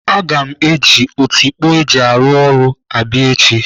Aga m eji otikpo eji arụ ọrụ abịa echi.